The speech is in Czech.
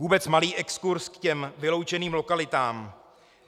Vůbec malý exkurz k těm vyloučeným lokalitám.